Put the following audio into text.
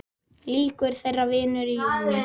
Lýkur þeirri vinnu í júní.